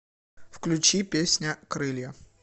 включи песня крылья